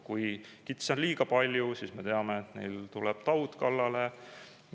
Kui kitsi on liiga palju, siis me teame, et neile tuleb taud kallale.